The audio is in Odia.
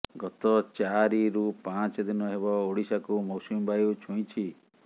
ଗତ ଚାରିରୁ ପାଞ୍ଚ ଦିନ ହେବ ଓଡ଼ିଶାକୁ ମୌସୁମୀ ବାୟୁ ଛୁଇଁଛି